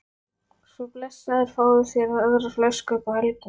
Svo blessaður fáðu þér aðra flösku upp á helgina